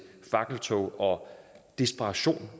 fakkeltog og desperation